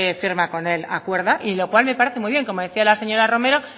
firma con él acuerda y lo cual me parece muy bien como decía la señora romero